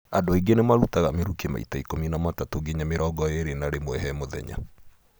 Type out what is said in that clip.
Andũ aingĩ nĩ marutaga mĩrukĩ maita ikũmi na matatu ginya mĩrongo ĩrĩ na rĩmwa e mũthenya.